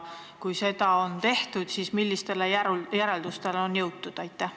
Kui seda on tehtud, siis millistele järeldustele on jõutud?